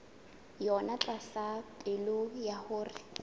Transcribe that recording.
yona tlasa pehelo ya hore